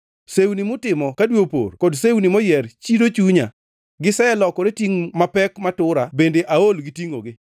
Sewni mutimo ka dwe opor kod sewni moyier chido chunya, giselokore tingʼ mapek matura bende aol gi tingʼogi.